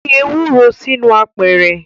Fi ewuro sinu apeeere